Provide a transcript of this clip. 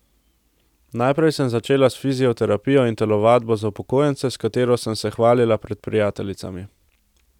Najprej sem začela s fizioterapijo in telovadbo za upokojence, s katero sem se hvalila pred prijateljicami.